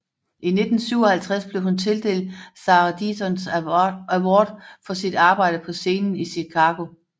I 1957 blev hun tildelt Sarah Siddons Award for sit arbejde på scenen i Chicago